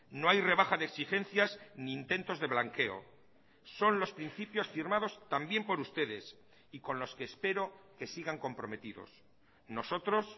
no hay rebaja de exigencias ni intentos de blanqueo son los principios firmados también por ustedes y con los que espero que sigan comprometidos nosotros